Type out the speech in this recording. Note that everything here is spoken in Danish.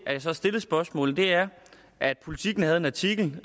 at jeg så stillede spørgsmålet er at politiken havde en artikel